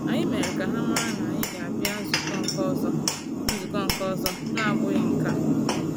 Anyị mere ka ha mara na anyị ga abia nzukọ nke ọzọ nzukọ nke ọzọ na-abụghị nke a